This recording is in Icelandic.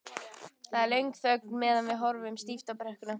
Það er löng þögn meðan við horfum stíft á brekkuna.